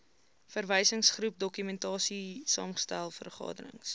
verwysingsgroep dokumentasiesaamgestel vergaderings